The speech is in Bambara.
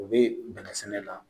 U bɛ bɛnɛ sɛnɛ la